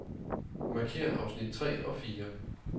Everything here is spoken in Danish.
Markér afsnit tre og fire.